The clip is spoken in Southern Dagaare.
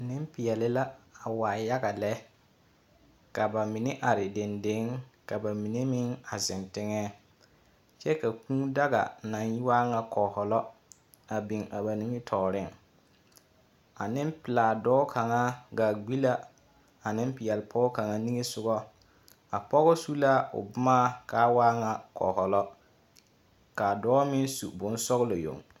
Nempeɛle la a waa yaga lɛ. Ka ba mine are dendeŋ, ka ba mine meŋ a zeŋ teŋɛɛ. Kyɛ ka kūū daga naŋ waa ŋa kɔkɔlɔa a biŋ a ba nimitɔɔreŋ. A nempelaa dɔɔ kaŋa gaa gbi la a Nempeɛle Pɔge kaŋa niŋɛ sogɔ. A pɔgɔ su la o boma kaa waa ŋa kɔlɔ. Kaa dɔɔ meŋ su bonsɔgelɔ yoŋ.